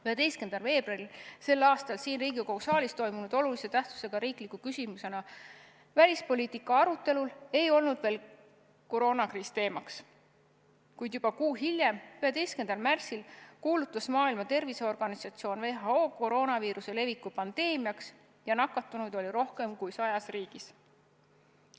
11. veebruaril sel aastal siin Riigikogu saalis toimunud olulise tähtsusega riikliku küsimusena välispoliitika arutelul ei olnud veel koroonakriis teemaks, kuid juba kuu hiljem, 11. märtsil, kuulutas Maailma Terviseorganisatsioon WHO koroonaviiruse leviku pandeemiaks ja nakatunuid oli rohkem kui sajas riigis.